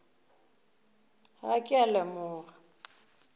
ga a ke a leboga